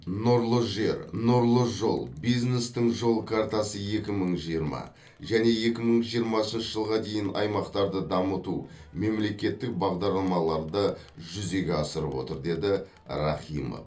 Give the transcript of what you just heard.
нұрлы жер нұрлы жол бизнестің жол картасы екі мың жиырма және екі мың жиырмасыншы жылға дейін аймақтарды дамыту мемлекеттік бағдарламаларды жүзеге асырып отыр деді рахимов